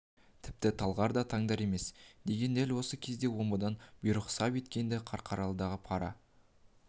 тіпті талғар да таңдар да емес деген дәл осы кезде омбыдан бұйрық сап еткен-ді қарқаралының пара